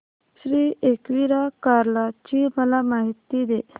श्री एकविरा कार्ला ची मला माहिती दे